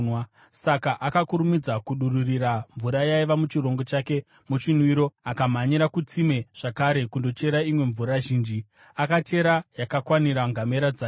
Saka akakurumidza kudururira mvura yaiva muchirongo chake muchinwiro, akamhanyira kutsime zvakare kundochera imwe mvura zhinji, akachera yakakwanira ngamera dzake.